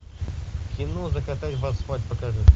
кино закатать в асфальт покажи